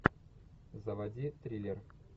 заводи триллер